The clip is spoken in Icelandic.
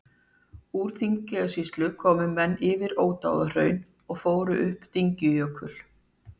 Úr Þingeyjarsýslu komu menn yfir Ódáðahraun og fóru upp Dyngjujökul.